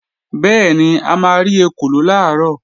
Bẹ́ẹ̀ni, a máa rí ekòló làárọ̀